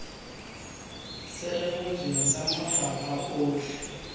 se rebotsweng sa mafapha otlhe